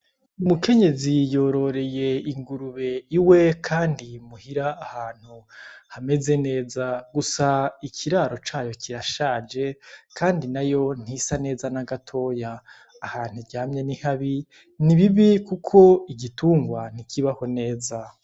Umukenyezi yororeye ingurube iwe, kandi muhira ahantu hameze neza gusa ikiraro cayo kirashaje, kandi na yo ntisa neza n'agatoya ahantu ryamye n'ikabi ni bibi, kuko igitungwa ntikibaho neza.